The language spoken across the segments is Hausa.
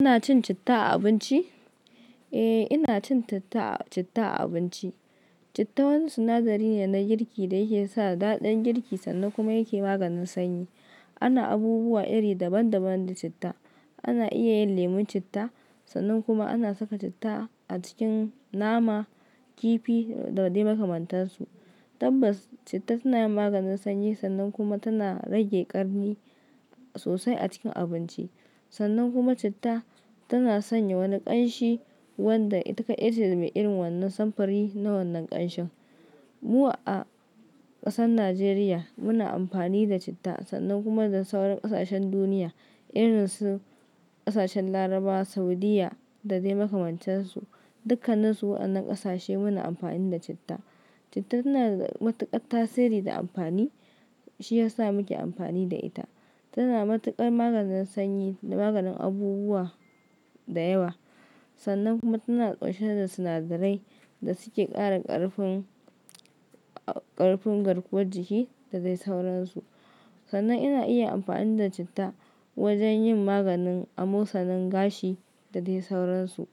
Kuna cin citta a abinci? Eh, ina cin citta a abinci. Citta wani sinadari ne na girki da yakesa daɗin girki sannan kuma yake maganin sanyi. Ana abubuwa iri daban-daban da citta. Ana iya yin lemon citta, sannan kuma ana saka citta a cikin nama, kifi dadai makamantan su. Tabbas, citta tanayin maganin sanyi sannan kuma tana rage ƙarni sosai a cikin abinci. Sannan kuma citta tana sanya wani ƙanshi wanda ita kadaice me irin wannan samfuri na wannan ƙanshin. Mu a ƙasar Najeriya muna amfani da citta sannan kuma da sauran ƙasashen duniya irinsu ƙasashen Larabawa, Saudiyya dadai makamantan su. Dukkaninsu waɗannan ƙasashe muna amfani da citta. Citta tanada matuƙar tasiri da amfani shiyasa muke amfani da ita. Tana matuƙar maganin sanyi da maganin abubuwa da yawa. Sannan kuma tana ɗauke da sinadarai da suke ƙara ƙarfin, ƙarfin garkuwar jiki da dai sauransu. Sannan ina iya amfani da citta wajen yin maganin amosanin gashi dadai sauransu.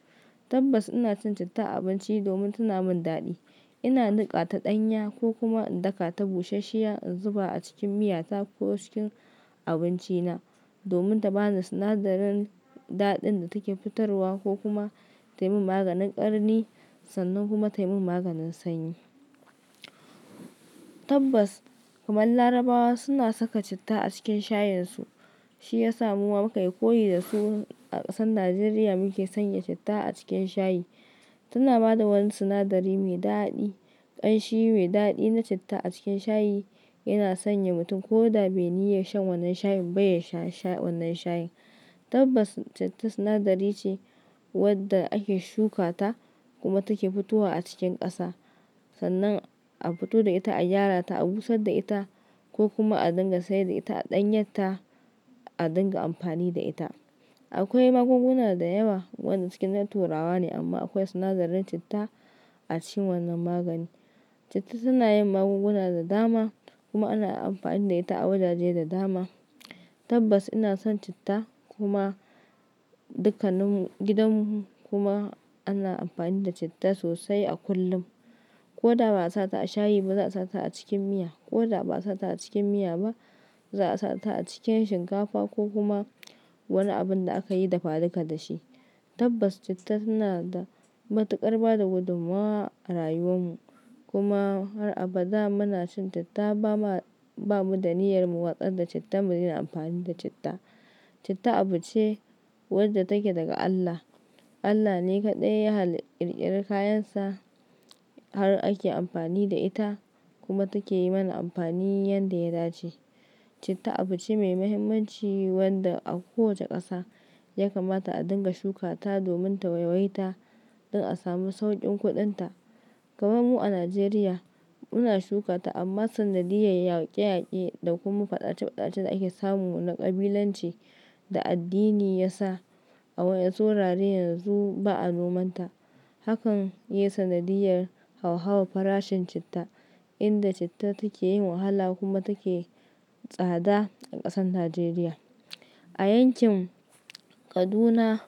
Tabbas inacin citta a abinci domin tana min daɗi. Ina niƙata ɗanya ko kuma in daka ta bushashshiya in zuba a cikin miyata ko cikin abinci na domin ta bani sinadarin daɗin da take fitarwa ko kuma tayi min maganin ƙarni sannan kuma tayi min maganin sanyi. Tabbas, kamar Larabawa suna saka citta a cikin shayin su, shiyasa muma mukayi koyi dasu a ƙasan Najeriya muke sanya citta a cikin shayi. Tana bada wani sinadari mai daɗi. Kamshi mai dadi na citta a cikin shayi yana sanya mutum kodabe niyyan shan wannan shayinba yasha wannan shayin. Tabbas, citta sinadari ce wadda ake shukata kuma take fitowa a cikin ƙasa. Sannan a fito da ita, a gyara ta, a busarda ita ko kuma a dinga sayar da ita, a ɗanyar ta, a dinga amfani da ita. Akwai magunguna da yawa waɗanda cikin na turawa ne amma akwai sinadarin citta a cikin wannan magani. Citta tanayin magunguna da dama kuma ana amfani da ita a wajaje da dama. Tabbas ina son citta kuma dukkanin mu gidanmu kuma ana amfani da citta sosai a kullum. Koda ba'a sashi a shayiba za'a sashi a cikin miya koda ba' a sashi a cikin miyaba, za'asa a cikin shinkafa ko kuma wani abunda akayi dafa duka dashi. Tabbas citta tanada matuƙar bada gudummawa a rayuwar mu. Kuma har abada munacin citta ba ma, bamuda niyyar mu watsarda citta mu daina amfani da citta. Citta abu ce wadda take daga Allah. Allah ne kaɗai ya halli ya kirkiri kayansa har ake amfani da ita kuma takeyi mana amfani yanda ya dace. Citta abuce mai muhimmanci wadda a kowace ƙasa ya kamata a dinga shukata domin ta waiwayaita don a samu saukin kuɗin ta. Kamarmu a Najeriya muna shukata amma sanadiyar yake-yake da kuma faɗace faɗacen da ake samu na ƙabilanci da addini yasa a waɗansu wurare yanzu ba'a nomanta. Hakan yayi sanadiyar hauhawa farashin citta, inda citta takeyin wahala kuma take tsada a ƙasan Najeriya. A yankin Kaduna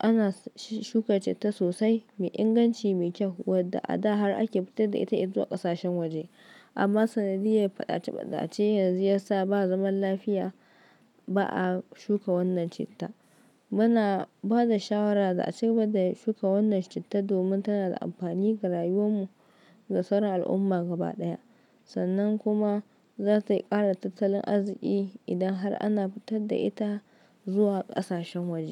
ana shuka citta sosai mai inganci, mai kyau wadda a da har ake fitarda ita zuwa ƙasashen waje. Amma sanadiyar faɗace faɗace yanzu yasa ba zaman lafiya ba'a shuka wannan citta. Muna bada shawara za'a ci gaba da shuka wannan citta domin tanada amfani ga rayuwar mu da sauran al'umma gaba ɗaya. Sannan kuma zata ƙara tattalin arziki idan har ana fitarda ita zuwa ƙasashen waje.